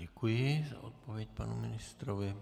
Děkuji za odpověď panu ministrovi.